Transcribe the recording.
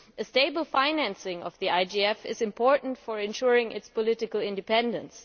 Stable financing of the IGF is important to ensuring its political independence.